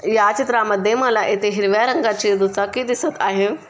या चित्रामध्ये मला येथे हिरव्या रंगाचे दुचाकी दिसत आहे.